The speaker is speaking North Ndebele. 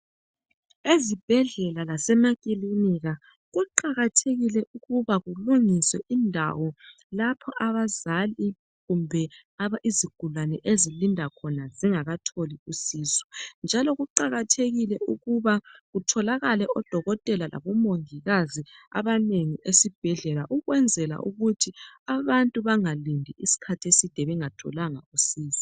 ezibhedlela lasemakilinika kuqakathekile ukuba kulungiswe indawo lapho abazali kumbe izigulane ezilinda khona zingakatholi usizo njalo kuqajkathekile ukuba kutholakale o dokotela labo mongikazi abanengi esibhedlela ukwenzela ukuthi abantu angalindi isikhathi eside bengatholanga usizo